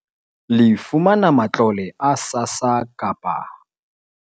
Le fumana matlole a SASSA kapa